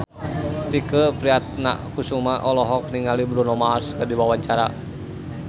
Tike Priatnakusuma olohok ningali Bruno Mars keur diwawancara